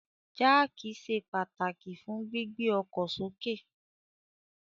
Jáákí ṣe pataki fun gbigbe ọkọ soke